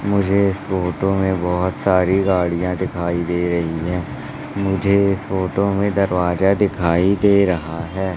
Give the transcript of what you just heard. मुझे इस फोटो में बहुत सारी गाड़ियां दिखाई दे रही है मुझे इस फोटो में दरवाजा दिखाई दे रहा है।